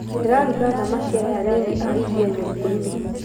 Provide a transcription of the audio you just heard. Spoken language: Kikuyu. Ndĩraruga thamaki aya anini a iria nyũngũinĩ